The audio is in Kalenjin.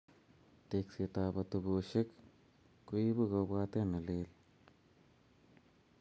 Teksetab atoboshek koibu kobwatet nelel